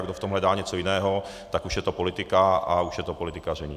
A kdo v tom hledá něco jiného, tak už je to politika a už je to politikaření.